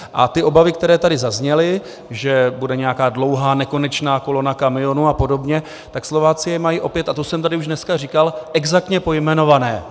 A ty obavy, které tady zazněly, že bude nějaká dlouhá, nekonečná kolona kamionů a podobně, tak Slováci je mají opět - a to jsem tady už dneska říkal - exaktně pojmenované.